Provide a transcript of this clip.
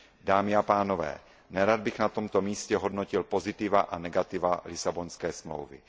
Dámy a pánové, nerad bych na tomto místě hodnotil pozitiva a negativa Lisabonské smlouvy.